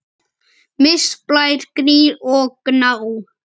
Mist, Blær, Gnýr og Gná.